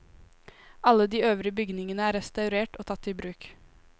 Alle de øvrige bygningene er restaurert og tatt i bruk.